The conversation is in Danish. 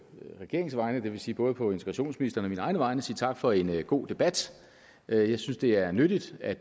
regeringens vegne det vil sige både på integrationsministerens og egne vegne sige tak for en god debat jeg synes det er nyttigt at